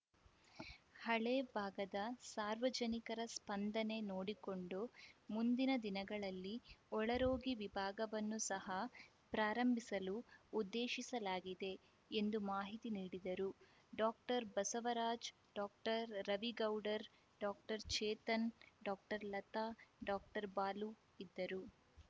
ಹಳೇ ಭಾಗದ ಸಾರ್ವಜನಿಕರ ಸ್ಪಂದನೆ ನೋಡಿಕೊಂಡು ಮುಂದಿನ ದಿನಗಳಲ್ಲಿ ಒಳರೋಗಿ ವಿಭಾಗವನ್ನು ಸಹಾ ಪ್ರಾರಂಭಿಸಲು ಉದ್ದೇಶಿಸಲಾಗಿದೆ ಎಂದು ಮಾಹಿತಿ ನೀಡಿದರು doctor Basavaraj doctor Ravi Gowdar doctor Chetan doctor Latha doctor Balu ಇದ್ದರು